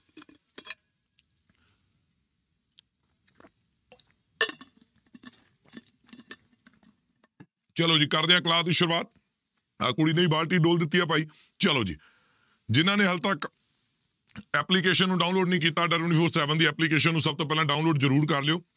ਚਲੋ ਜੀ ਕਰਦੇ ਹਾਂ class ਦੀ ਸ਼ੁਰੂਆਤ ਆਹ ਕੁੜੀ ਨੇ ਵੀ ਬਾਲਟੀ ਡੋਲ ਦਿੱਤੀ ਹੈ ਭਾਈ, ਚਲੋ ਜੀ ਜਿਹਨਾਂ ਨੇ ਹਾਲੇ ਤੱਕ application ਨੂੰ download ਨੀ ਕੀਤਾ ਦੀ application ਨੂੰ ਸਭ ਤੋਂ ਪਹਿਲਾਂ download ਜ਼ਰੂਰ ਕਰ ਲਇਓ